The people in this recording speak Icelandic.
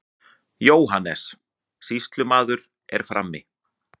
JÓHANNES: Sýslumaður er frammi.